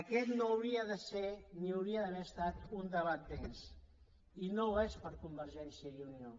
aquest no hauria de ser ni hauria d’haver estat un debat més i no ho és per convergència i unió